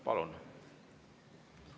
Palun!